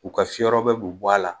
U ka fiyɔrɔbɔ bi bɔ a la